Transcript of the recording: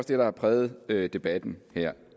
det der har præget debatten her